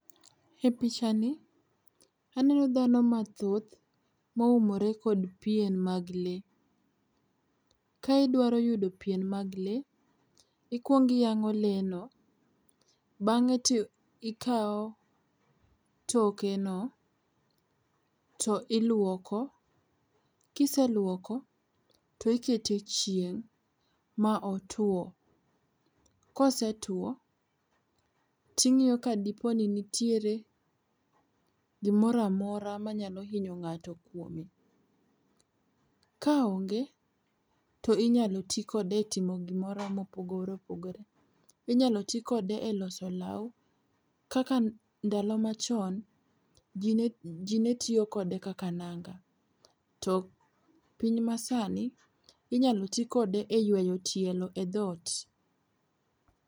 E pichani aneno dhano mathoth moumore kod pien mag lee. Ka idwaro yudo pien mag lee, ikuong iyango lee no, bang'e to ikaw toke no to iluoko ,kiseluoko to ikete chieng' ma otuo. Kosetuo ting'iyo ka diponi nitiere gimoro amora manyalo hinyo ng'ato kuome. Ka onge to inyalo tii kode e timo gimoro mopogore opogore, inyalo tii kode e loso lao kaka ndalo machon, jii netiyo kode kaka nanga to e piny masani inyalo tii kode e yweyo tielo e dhot